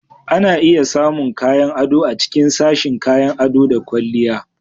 Ana iya samun kayan ado a cikin sashin kayan ado da ƙwalliya